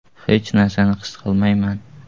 Hech narsani his qilmayman.